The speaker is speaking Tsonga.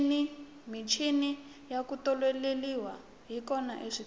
michini ya ku tiolola yi kona eswitolo